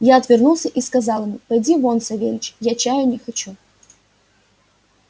я отвернулся и сказал ему поди вон савельич я чаю не хочу